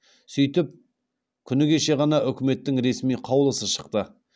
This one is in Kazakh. сөйтіп күні кеше ғана үкіметтің ресми қаулысы шықты